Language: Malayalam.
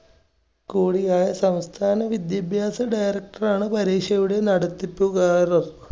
കൂടിയായ സംസ്ഥാന വിദ്യാഭ്യാസ director ആണ് പരീക്ഷയുടെ നടത്തിപ്പുകാരൻ.